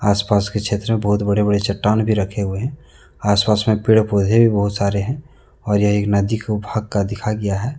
आस पास के क्षेत्र मे बहुत बड़े बड़े चट्टान भी रखे हुए हैं आस पास मे पेड़-पौधे भी बहोत सारे है और यह एक नदी भाग का दिखाया गया है।